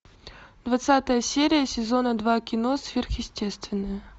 двадцатая серия сезона два кино сверхъестественное